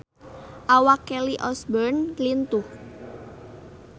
Awak Kelly Osbourne lintuh